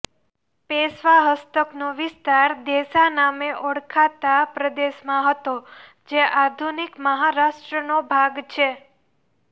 પેશવા હસ્તકનો વિસ્તાર દેશા નામે ઓળખાતા પ્રદેશમાં હતો જે આધુનિક મહારાષ્ટ્રનો ભાગ છે